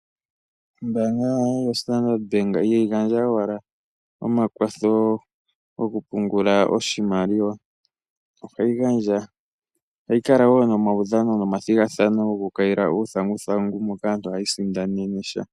Ombaanga yoStandard Bank ihayi gandja owala omakwatho gokupungula oshimaliwa, ohayi kala woo nomaudhano nomathigathano goku kayila uuthanguthangu moka aantu hayi sindanene sha.